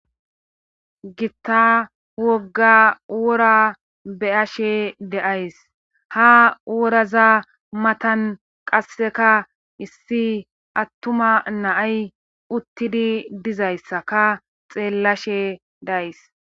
Gitta wogga wora beyashe deays ha woraza matan qasseka issi attuma naay uttidi dizayssaka xeellashe days.